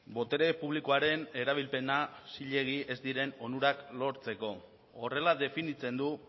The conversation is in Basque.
botere publikoaren erabilpena zilegi ez diren onurak lortzeko horrela definitzen du